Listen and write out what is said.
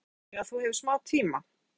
Hugrún: Já, þannig að þú hefur smá tíma?